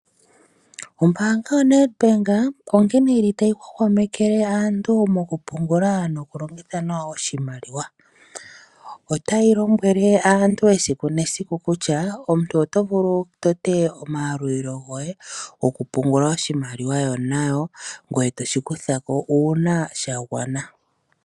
Ombaanga yaNedbank onkene ta yi hwahwamekele aantu mokupungula mokulongitha nawa oshimaliwa. Ota yi lombwele aantu esiku nesiku kutya omuntu oto vulu wu tote omayalulilo goye gokupungula oshimaliwa nayo, ngoye to shi kutha ko uuna sha gwana.